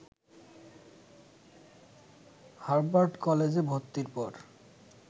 Harvard কলেজে ভর্তির পর